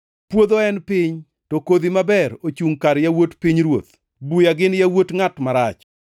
Puodho en piny, to kodhi maber ochungʼ kar yawuot pinyruoth. Buya gin yawuot ngʼat marach,